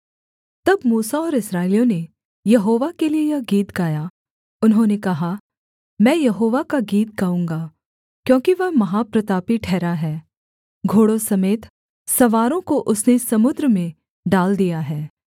तब मूसा और इस्राएलियों ने यहोवा के लिये यह गीत गाया उन्होंने कहा मैं यहोवा का गीत गाऊँगा क्योंकि वह महाप्रतापी ठहरा है घोड़ों समेत सवारों को उसने समुद्र में डाल दिया है